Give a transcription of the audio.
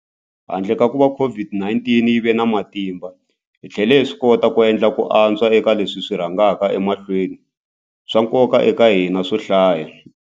Handle ka kuva COVID-19 yi va na matimba, hi tlhele hi swikota ku endla ku antswa eka leswi swi rhangaka emahlweni swa nkoka eka hina swo hlaya.